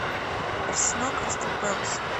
арсенал кристал пэлас